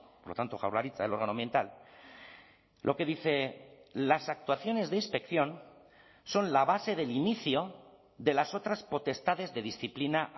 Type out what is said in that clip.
por lo tanto jaurlaritza el órgano ambiental lo que dice las actuaciones de inspección son la base del inicio de las otras potestades de disciplina